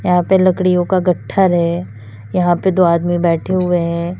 यहां पर लकड़ियों का गट्ठर है यहां पे दो आदमी बैठे हुए हैं।